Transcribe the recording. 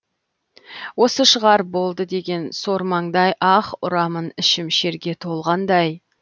осы шығар болды деген сор маңдай аһ ұрамын ішім шерге толғандай